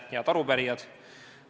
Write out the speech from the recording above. Head arupärijad!